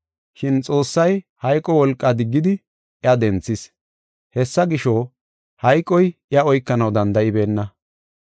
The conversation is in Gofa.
Shin Xoossay hayqo wolqa diggidi iya denthis. Hessa gisho, hayqoy iya oykanaw danda7ibeenna.